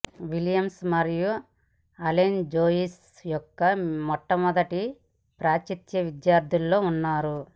Williams మరియు Allen Joyce యొక్క మొట్టమొదటి పాశ్చాత్య విద్యార్థుల్లో ఉన్నారు